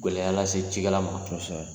Gwɛlɛya lase cikɛla ma. Kosɛbɛ.